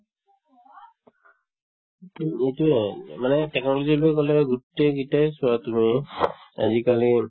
এইটোয়ে মানে technology গোটেই কেইটাই চোৱা আজিকালি